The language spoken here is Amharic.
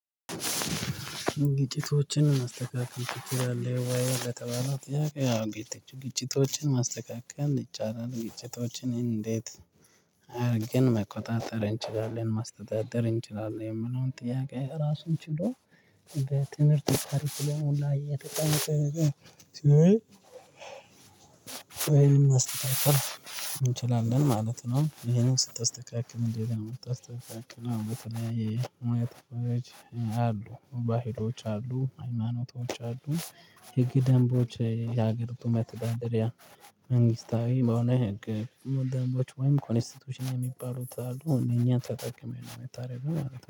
ግጭቶችን ማስተካከል ትችላለህ ወይ? ለተባለው ጥያቄ አዎ ግጭቶችን ማስተካከል ይቻላል ግጭቶችን እንዴት? አድርገን መቆጣጠር እንችላለን ማስተዳደር እንችላለን የምነውን ጥያቄ ራሱን ችሎ እንደ ትምህርት ተርፍ ለመሞላ የተጠናቀቀ ስለው ወይም ማስተካከል እንችላለን ማለት ነው። ይሄንን ስታስተካክል አንዴት ነው ምታስተካክለው? በተለያየ ሙያ ተቆራጭ አሉ ባህሎች አሉ ሃይማኖቶች አሉ ህግ ደንቦች የሀገሪቱ መተዳደሪያ መንግስታዊ በአሁኑ የህግ ወንድማማቾች ወይም ኮንስቲቲዩሽን የሚባሉት አሉ እኛን ተጠቅሜ ነው የምታደርገው